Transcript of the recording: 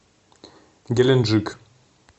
геленджик